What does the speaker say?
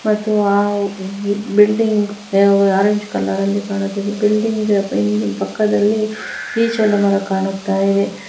ಮತ್ತು ಆ building orange colour ಅಲ್ಲಿ ಕಾಣುತ್ತಿದೆ ಬಿಲ್ಡಿಂಗ್ ಪಕ್ಕದಲ್ಲಿ ಈಚಲ ಮರ ಕಾಣುತ್ತದೆ.